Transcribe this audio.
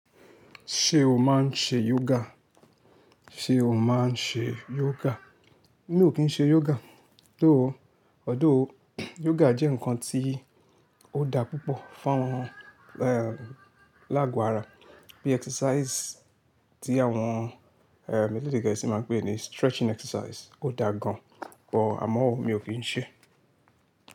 Ṣé o máa ń ṣe yoga? Ṣé o máa ń ṣe yoga? Mi ò kí ń ṣe yoga, though, although yoga jẹ́ nǹkan tí ó dá púpọ̀ fún àwọn, ehn, láàgò ara. Bí exercise tí àwọn, eh, elédè gẹẹsi máa ń pè ẹ́ ni stretching exercise. Ó dáa gan, bọ àmọ́ mi ò kí ń ṣe.